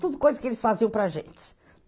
Tudo coisa que eles faziam para a gente.